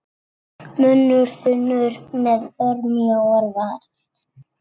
Munnur þunnur með örmjóar varir.